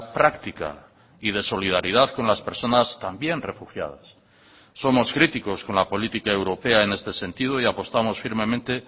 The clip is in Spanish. práctica y de solidaridad con las personas también refugiadas somos críticos con la política europea en este sentido y apostamos firmemente